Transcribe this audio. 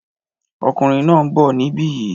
Ọkùnrin náà ń bọ̀ níbi yìí